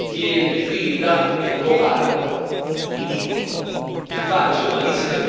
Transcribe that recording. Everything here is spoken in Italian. L'attuale lista contiene Trinidad e Tobago, è ridicolo!